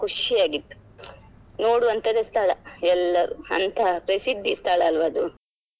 ಖುಷಿಯಾಗಿತ್ತು ನೋಡುವಂತದ್ದೇ ಸ್ಥಳ ಎಲ್ಲರು ಅಂತ ಪ್ರಸಿದ್ಧಿ ಸ್ಥಳಲ್ವ ಅದು.